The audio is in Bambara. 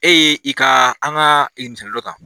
E ye i ka an ka